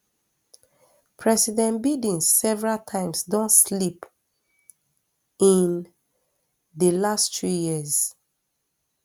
president biden several times don slip in di last three years